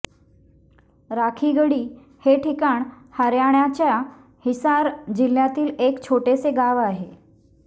राखीगढी हे ठिकाण हरयाणाच्या हिसार जिल्ह्यातील एक छोटेसे गाव आहे